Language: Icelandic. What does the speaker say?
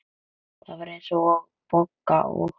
Það var eins og Bogga og